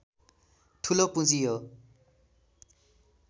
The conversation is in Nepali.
ठूलो पूँजी हो